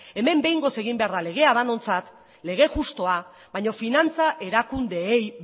hemen behingoz egin behar da legea denontzat lege justua baina finantza erakundeei